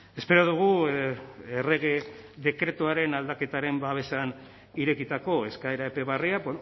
espero dugu errege dekretuaren aldaketaren babesean irekitako eskaera epe berria